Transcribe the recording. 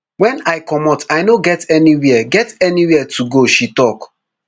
wen i comot i no get anywia get anywia to go she tok